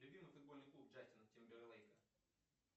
любимый футбольный клуб джастина тимберлейка